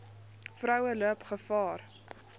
vroue loop gevaar